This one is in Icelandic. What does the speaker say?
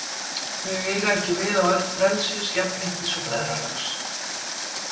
Þau eiga ekki við á öld frelsis, jafnréttis og bræðralags.